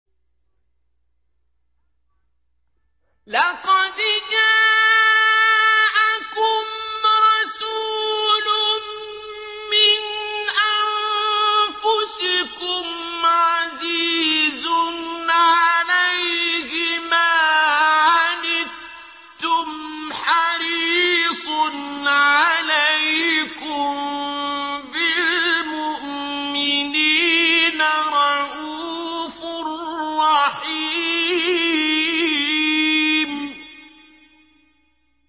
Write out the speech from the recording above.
لَقَدْ جَاءَكُمْ رَسُولٌ مِّنْ أَنفُسِكُمْ عَزِيزٌ عَلَيْهِ مَا عَنِتُّمْ حَرِيصٌ عَلَيْكُم بِالْمُؤْمِنِينَ رَءُوفٌ رَّحِيمٌ